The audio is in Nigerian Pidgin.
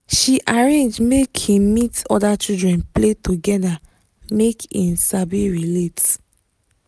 she arrange make him meet other children play together make e sabi relate